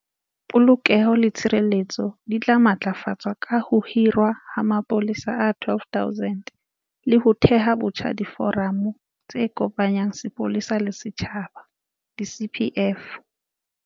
Polokeho le tshireletso di tla matlafatswa ka ho hirwa ha mapolesa a 12 000 le ho theha botjha diforamo tse kopanyang sepolesa le setjhaba di-CPF.